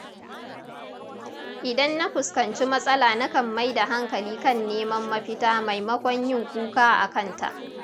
Idan na fuskanci matsala nakan mai da hankali kan neman mafita maimakon yin kuka akanta.